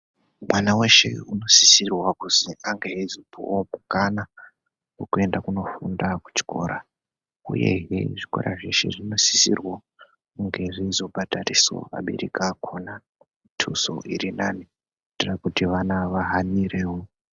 Mwana weshe unosisirwa kuzi ange eizopuwa mukana wekuenda kunofunda kuchikora uyehe zvikora zveshe zvinosisirwa kunge zveizobhadharisawo abereki akhona mutuso uri nane kuitira kuti vana vahanirewo.